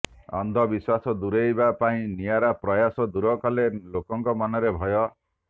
ଅନ୍ଧବିଶ୍ୱାସ ଦୁରେଇବା ପାଇଁ ନିଆରା ପ୍ରୟାସ ଦୂର କଲେ ଲୋକଙ୍କ ମନର ଭୟ